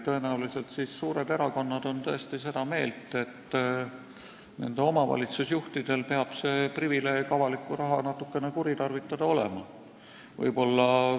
Tõenäoliselt on suured erakonnad tõesti seda meelt, et nende omavalitsusjuhtidel peab olema privileeg avalikku raha natukene kuritarvitada.